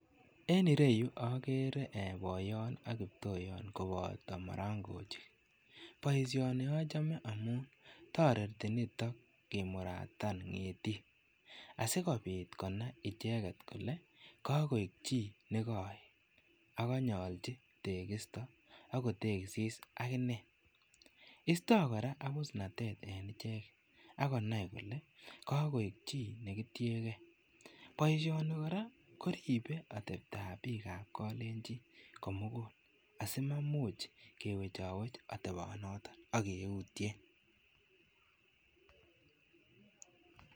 En ireyu agere ee boiyon ak kiptoyon kobato marangochik. Boisioni achame amun toreti niton kimuratan ngetik asikopit konai icheget kole, kagoek chi nekagoet ak kagonyalji tegisto agotegisis agine. Isto kora abusnatet en icheget agonai kole kagoek chi negitienge. Boisioni kora koripe ateptab bikab kalenjin komugul asimamuch kewechawech atebon noton ak keutyen.